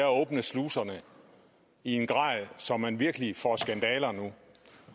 åbner sluserne i en grad så man virkelig får skandaler nu